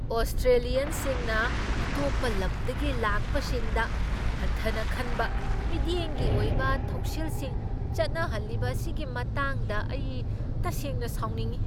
ꯑꯣꯁ꯭ꯇꯔꯦꯂꯤꯌꯟꯁꯤꯡꯅ ꯑꯇꯣꯞꯄ ꯂꯝꯗꯒꯤ ꯂꯥꯛꯄꯁꯤꯡꯗ ꯍꯟꯊꯅ ꯈꯟꯕ ꯃꯤꯠꯌꯦꯡꯒꯤ ꯑꯣꯏꯕ ꯊꯧꯁꯤꯜꯁꯤꯡ ꯆꯠꯅꯍꯜꯂꯤꯕ ꯑꯁꯤꯒꯤ ꯃꯇꯥꯡꯗ ꯑꯩ ꯇꯁꯦꯡꯅ ꯁꯥꯎꯅꯤꯡꯢ ꯫